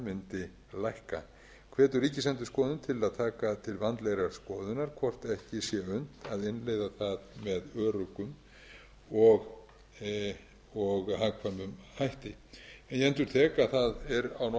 við það mundi lækka hvetur ríkisendurskoðun til að taka til vandlegrar skoðunar hvort ekki sé unnt að innleiða það með öruggum og hagkvæmum hætti en ég endurtek að á norðurlöndum er almennt ekki